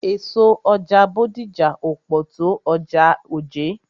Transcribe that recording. Èso ọjà Bódìjà ò pọ̀ tó ọjà Ojé.